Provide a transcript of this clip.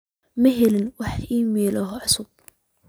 ma helay wax iimayl ah oo cusub